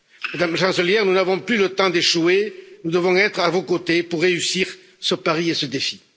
Madame la Chancelière, nous n'avons plus le temps d'échouer, nous devons être à vos côtés pour réussir ce pari et ce défi.